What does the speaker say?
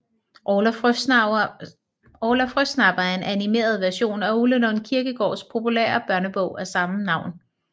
Orla Frøsnapper er en animeret version af Ole Lund Kirkegaards populære børnebog af samme navn